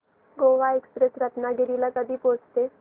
Goa express Ratnagiri ला कधी पोहचते